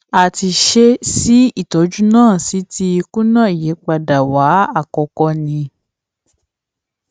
a ti ṣe si ìtọjú náà sì ti kùnà ìyípadà wa àkọkọ ni